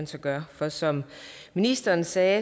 så gør og som ministeren sagde